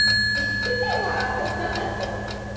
हा आठवतं ना.